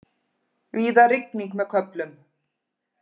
Víða rigning með köflum